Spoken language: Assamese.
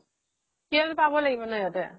কিবা এটাটো পাব লাগিব ন সিহতে